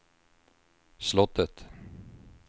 slottet